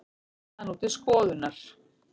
Það er nú til skoðunar